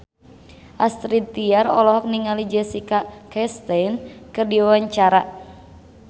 Astrid Tiar olohok ningali Jessica Chastain keur diwawancara